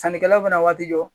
Sannikɛlaw fana waati jɔ